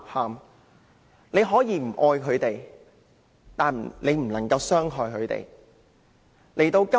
大家可以不愛牠們，但不能傷害牠們。